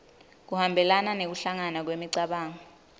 kuhambelana nekuhlangana kwemicabango